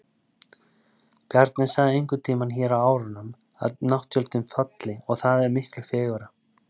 Bjarni sagði einhverntíma hér á árunum að nátttjöldin falli, og það er miklu fegurra.